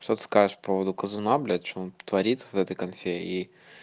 что ты скажешь по поводу казуна блять что он творит в этой конфе и